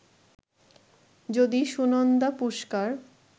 যদি সুনন্দা পুশকার